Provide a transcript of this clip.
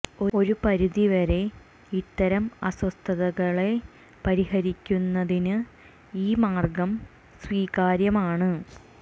ഒരു പരിധി വരെ ഇത്തരം അസ്വസ്ഥതകളെ പരിഹരിക്കുന്നതിന് ഈ മാര്ഗ്ഗം സ്വീകാര്യമാണ്